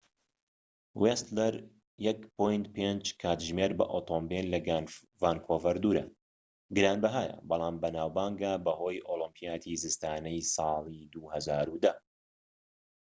ویستلەر 1.5 کاتژمێر بە ئۆتۆمبێل لە ڤانکوڤەر دوورە گرانبەھایە بەڵام بەناوبانگە بەهۆی ئۆلیمپیاتی زستانەی ساڵی 2010